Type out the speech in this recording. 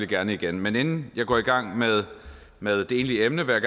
gerne igen men inden jeg går i gang med med det egentlige emne vil